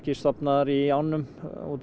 stofnar í ánum út af